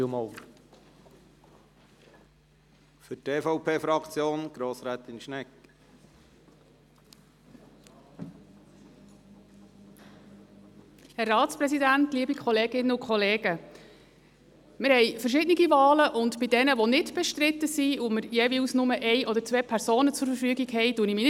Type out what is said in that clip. Wir haben verschiedene Wahlen, und zu denjenigen, die nicht bestritten sind und für welche wir jeweils nur eine oder zwei Personen zur Verfügung haben, äussere ich mich nicht.